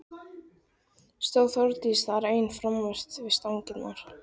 Stóð Þórdís þar ein framanvert við stangirnar.